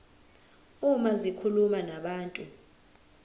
uma zikhuluma nabantu